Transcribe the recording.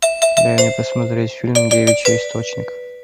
дай мне посмотреть фильм девичий источник